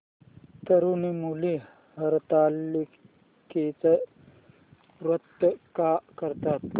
तरुण मुली हरतालिकेचं व्रत का करतात